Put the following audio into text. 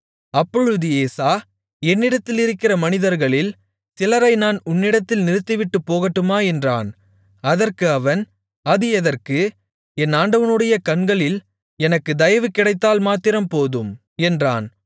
அப்பொழுது ஏசா என்னிடத்திலிருக்கிற மனிதர்களில் சிலரை நான் உன்னிடத்தில் நிறுத்திவிட்டுப் போகட்டுமா என்றான் அதற்கு அவன் அது எதற்கு என் ஆண்டவனுடைய கண்களில் எனக்கு தயவுகிடைத்தால் மாத்திரம் போதும் என்றான்